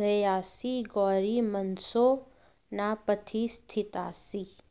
ध्येयासि गौरि मनसो न पथि स्थितासि